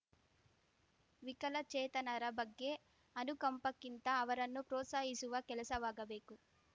ವಿಕಲಚೇತನರ ಬಗ್ಗೆ ಅನುಕಂಪಕ್ಕಿಂತ ಅವರನ್ನು ಪ್ರೋತ್ಸಾಹಿಸುವ ಕೆಲಸವಾಗಬೇಕು